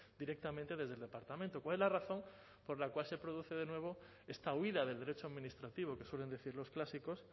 directamente desde el departamento cuál es la razón por la cual se produce de nuevo esta huida del derecho administrativo que suelen decir los clásicos